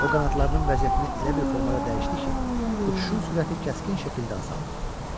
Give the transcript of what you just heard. O qanadlarının vəziyyətini elə bir formada dəyişdi ki, uçuşun sürəti kəskin şəkildə azaldı.